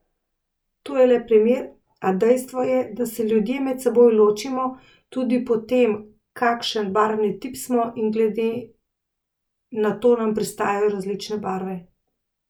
To je le primer, a dejstvo je, da se ljudje med seboj ločimo tudi po tem kakšen barvni tip smo in glede na to nam pristajajo različne barve.